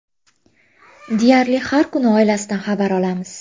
Deyarli, har kuni oilasidan xabar olamiz.